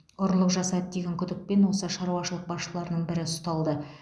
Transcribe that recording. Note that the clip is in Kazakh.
ұрлық жасады деген күдікпен осы шаруашылық басшыларының бірі ұсталды